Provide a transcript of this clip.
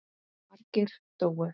Margir dóu.